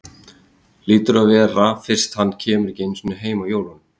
Hlýtur að vera fyrst hann kemur ekki einu sinni heim á jólunum.